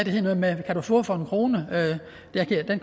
hed noget med kan du få for en krone